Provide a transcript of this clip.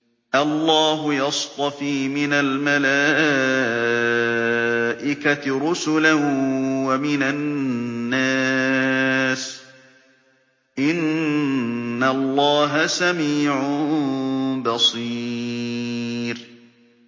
اللَّهُ يَصْطَفِي مِنَ الْمَلَائِكَةِ رُسُلًا وَمِنَ النَّاسِ ۚ إِنَّ اللَّهَ سَمِيعٌ بَصِيرٌ